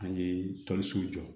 An ye toli so jɔ